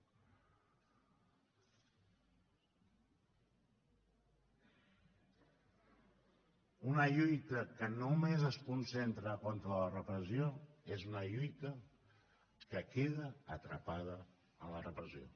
una lluita que només es concentra contra la repressió és una lluita que queda atrapada en la repressió